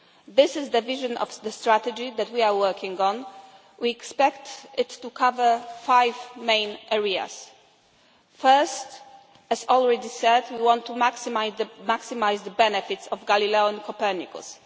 This is the vision of the strategy that we are working on. We expect it to cover five main areas. First, as already said, we want to maximise the benefits of Galileo and Copernicus.